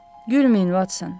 Gülməyin, Votson.